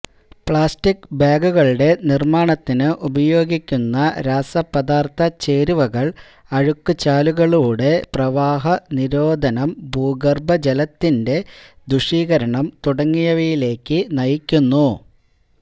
plastic ബാഗുകളുടെ നിർമാണത്തിന് ഉപയോഗിക്കുന്ന രാസപദാർഥ ചേരുവകൾ അഴുക്കുചാലുകളുടെ പ്രവാഹനിരോധനം ഭൂഗർഭജലത്തിന്റെ ദുഷീകരണം തുടങ്ങിയവയിലേക്ക് നയിക്കുന്നു